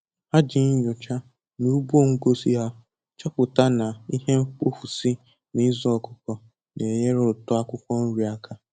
Ha ji nyoocha na ugbo ngosi ha chọpụta na ihe mkpofu si na ịzụ ọkụkọ na enyere uto akwụkwọ nri aka